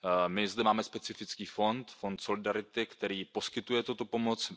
My zde máme specifický fond, Fond solidarity, který poskytuje tuto pomoc.